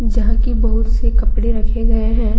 जहां की बहुत से कपड़े रखे गए हैं।